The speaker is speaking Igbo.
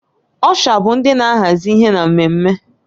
Ọsha bụ ndị na-ahazi ihe na mmemme